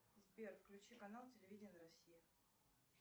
сбер включи канал телевидение россии